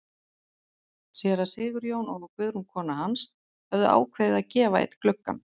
Séra Sigurjón og Guðrún kona hans höfðu ákveðið að gefa einn gluggann.